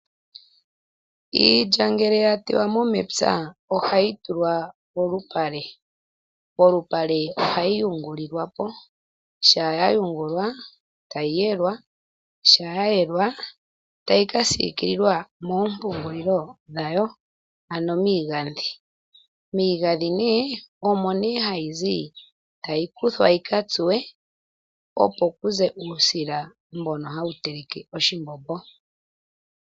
Iilya ngele yateywamo mepya ohayi tulwa polupale, polupale ohayi yungulilwa po, sha yayungulwa tayi yelwa, sha yayelwa tayi kasiikililwa moompungulilo dhayo ano miigadhi. Miigadhi ne omo ne hayi zi tayi kuthwa yikatsuwe opo kuze uusila mbono hawu teleke oshimbombo.